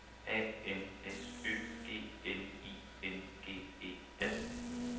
A N S Ø G N I N G E R